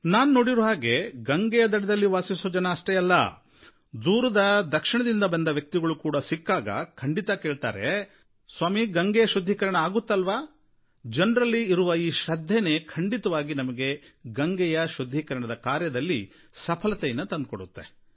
ನಾನು ನೋಡಿರೋ ಹಾಗೆ ಗಂಗೆಯ ದಡದಲ್ಲಿ ವಾಸಿಸೋ ಜನ ಅಷ್ಟೇ ಅಲ್ಲ ದೂರದ ದಕ್ಷಿಣದ ವ್ಯಕ್ತಿಗಳು ಸಿಕ್ಕಾಗಲೂ ಖಂಡಿತ ಕೇಳ್ತಾರೆ ಸ್ವಾಮೀ ಗಂಗೆಯ ಶುದ್ಧೀಕರಣ ಆಗುತ್ತಲ್ವಾ ಜನರಲ್ಲಿ ಇರುವ ಈ ಶ್ರದ್ಧೇನೇ ಖಂಡಿತವಾಗಿ ನಮಗೆ ಗಂಗೆಯ ಶುದ್ಧೀಕರಣದ ಕಾರ್ಯದಲ್ಲಿ ಸಫಲತೆಯನ್ನು ತಂದುಕೊಡುತ್ತೆ